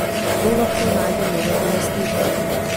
Kdo lahko najde novega lastnika?